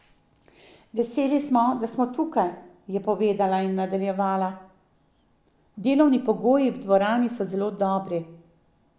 Veseli smo, da smo tukaj,' je povedala in nadaljevala: 'Delovni pogoji v dvorani so zelo dobri.